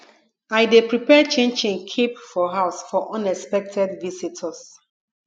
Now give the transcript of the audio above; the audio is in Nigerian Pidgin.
i dey prepare chinchin keep for house for unexpected visitors